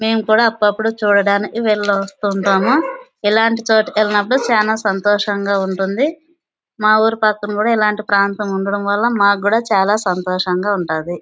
మేము కూడా అప్పుడు అప్పుడు వెళ్ళి వస్తూ ఉంటాము. ఇల్లాంటి చోటు కి వెళ్ళినప్పుడు చాల సంతోషంగా ఉంటది. మా ఊరు పక్కన కూడా ఇల్లాంటి ప్రాతం ఉండడం వాళ్ళ మాకు కూడా చాల సంతోషంగా ఉంటాది .